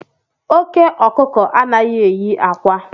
Oke okuko anaghị eyi akwa